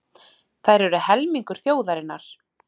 Þær eru helmingur þjóðarinnar.